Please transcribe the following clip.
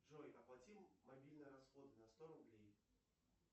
джой оплати мобильные расходы на сто рублей